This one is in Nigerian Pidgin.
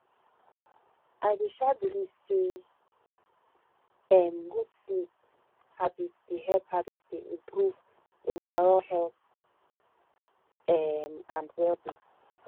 i dey um believe say um good sleep habits dey help habits dey help improve overall health um and wellbeing